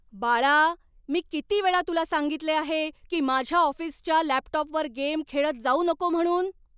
बाळा, मी किती वेळा तुला सांगितले आहे की माझ्या ऑफिसच्या लॅपटॉपवर गेम खेळत जाऊ नको म्हणून?